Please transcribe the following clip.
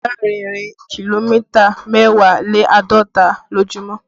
Má rìn ìrìn kìlómítà mẹ́wàá lé àádọ́ta lójúmọ́